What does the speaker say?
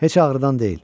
Heç ağırdan deyil.